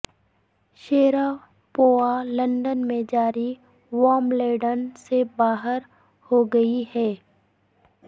Sharapova London میں جاری Wimbledon سے باہر ہو گئی ہیں